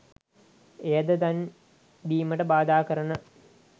එයද දන් දීමට බාධා කරන